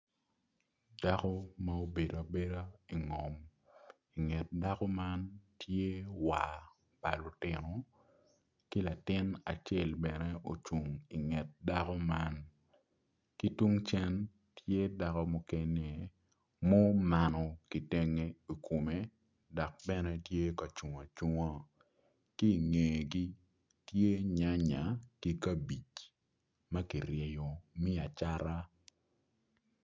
Dako ma obedo abeda i ngom i nget dako man tye war pa lutino ki latin acel bene ocung i nget dako man ki tung cen tye dako mukene mumano kitenge i kome tye ocung acunga ki i ngegi tye nyanya ki kabij ma kiryeyo me acata.